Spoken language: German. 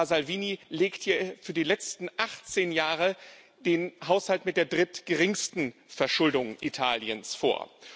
Aber Herr Salvini legt hier für die letzten 18 Jahre den Haushalt mit der drittgeringsten Verschuldung Italiens vor.